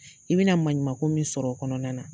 I bɛna maɲuman ko min sɔrɔ o kɔnɔna na.